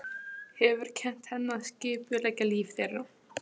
Hefur kennt henni að skipuleggja líf þeirra.